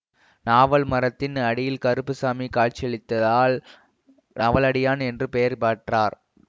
நாவல் மரத்தின் அடியில் கருப்பு சாமி காட்சியளித்தால் நவலடியான் என்று பெயர் பெற்றார்